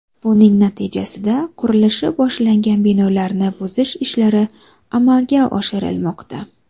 Buning natijasida qurilishi boshlangan binolarni buzish ishlari amalga oshirilmoqda.